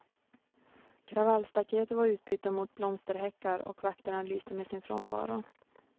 Kravallstaketen var utbytta mot blomsterhäckar, och vakterna lyste med sin frånvaro.